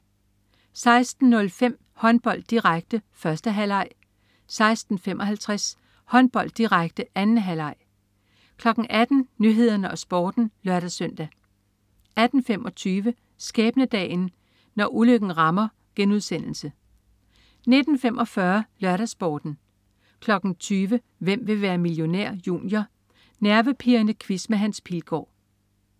16.05 Håndbold, direkte, 1. halvleg 16.55 Håndbold, direkte, 2. halvleg 18.00 Nyhederne og Sporten (lør-søn) 18.25 Skæbnedagen. Når ulykken rammer* 19.45 LørdagsSporten 20.00 Hvem vil være millionær? Junior. Nervepirrende quiz med Hans Pilgaard